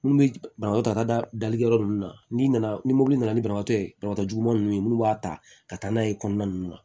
Minnu bɛ banabagatɔ ta dali yɔrɔ ninnu na n'i nana ni mobili nana ni banabaatɔ ye banabagatɔ juguman ninnu ye minnu b'a ta ka taa n'a ye kɔnɔna ninnu na